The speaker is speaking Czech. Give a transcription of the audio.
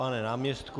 Pane náměstku?